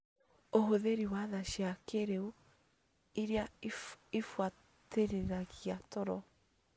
Ũhũthĩri wa thaa cia kĩrĩu irĩa ibuatĩrĩragia toro